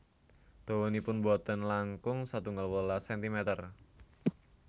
Dawanipun boten langkung setunggal welas sentimer